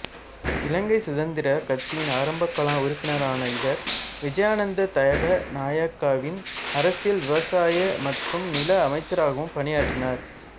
இலங்கை சுதந்திரக் கட்சியின் ஆரம்பகால உறுப்பினரான இவர் விஜயானந்த தகநாயக்காவின் அரசில் விவசாய மற்றும் நில அமைச்சராகப் பணியாற்றினார்